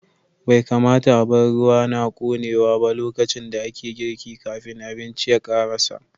Bai kamata a bar ruwa na ƙonewa ba lokacin da ake girki, kafin abincin ya karasa.